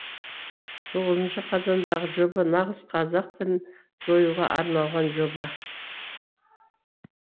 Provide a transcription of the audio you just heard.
тоғызыншы қазандағы жоба нағыз қазақ тілін жоюға арналған жоба